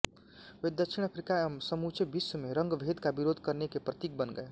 वे दक्षिण अफ्रीका एवं समूचे विश्व में रंगभेद का विरोध करने के प्रतीक बन गये